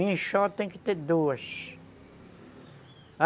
Enxó tem que ter duas.